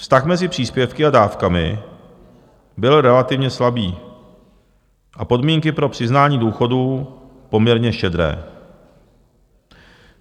Vztah mezi příspěvky a dávkami byl relativně slabý a podmínky pro přiznání důchodů poměrně štědré.